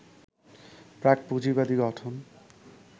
প্রাক-পুঁজিবাদী গঠন